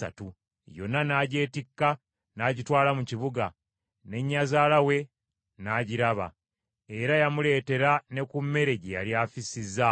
Yonna n’agyetikka, n’agitwala mu kibuga, ne nnyazaala we n’agiraba. Era yamuleetera ne ku mmere gye yali afissizzaawo.